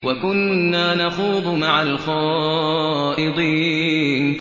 وَكُنَّا نَخُوضُ مَعَ الْخَائِضِينَ